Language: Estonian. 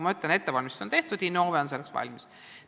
Ettevalmistused on tehtud ja Innove on selleks valmis.